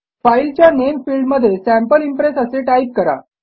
फाईलच्या नामे फिल्डमध्ये सॅम्पल इम्प्रेस असे टाईप करा